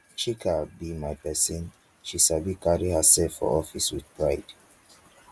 chika be my person she sabi carry herself for office with pride